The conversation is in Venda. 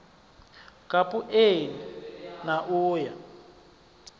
kapu eni na u ya